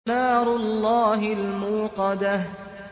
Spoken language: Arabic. نَارُ اللَّهِ الْمُوقَدَةُ